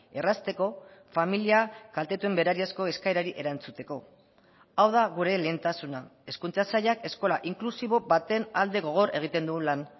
errazteko familia kaltetuen berariazko eskaerari erantzuteko hau da gure lehentasuna hezkuntza sailak eskola inklusibo baten alde gogor egiten du lan